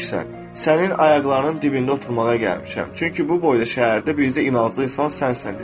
Sənin ayaqlarının dibində oturmağa gəlmişəm, çünki bu boyda şəhərdə bircə inanclı insan sənsən dedi.